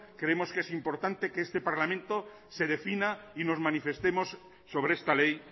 creemos que es importante que este parlamento se defina y nos manifestemos sobre esta ley